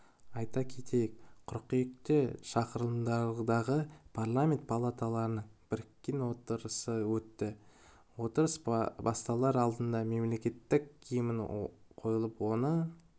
айта кетейік қыркүйекте шақырылымдағы парламенті палаталарының біріккен отырысы өтті отырыс басталар алдында мемлекеттік гимн қойылып оны